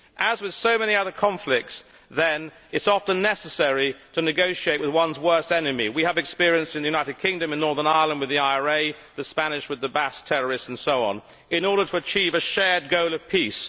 As with so many other conflicts, then, it is often necessary to negotiate with one's worst enemy we have experience in the United Kingdom in Northern Ireland with the IRA, the Spanish with the Basque terrorists and so on in order to achieve a shared goal of peace.